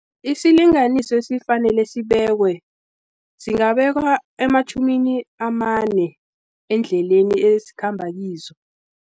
Isilinganiso esifanele sibeke, singabekwa ematjhumini amane, endleleni ezikhamba kizo.